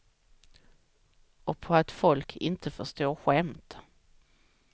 Och på att folk inte förstår skämt.